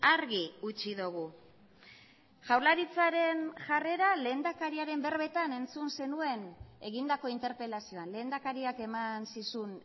argi utzi dugu jaurlaritzaren jarrera lehendakariaren berbetan entzun zenuen egindako interpelazioan lehendakariak eman zizun